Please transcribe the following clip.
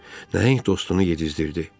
Nəhəng dostunu yedizdirdi.